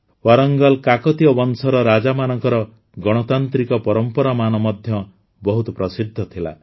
ୱାରଙ୍ଗଲକାକତୀୟ ବଂଶର ରାଜାମାନଙ୍କର ଗଣତାନ୍ତ୍ରିକ ପରମ୍ପରାମାନ ମଧ୍ୟ ବହୁତ ପ୍ରସିଦ୍ଧ ଥିଲା